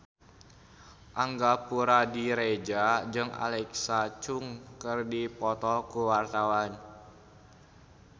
Angga Puradiredja jeung Alexa Chung keur dipoto ku wartawan